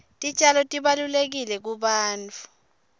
titjalo tibalulekile kubantfu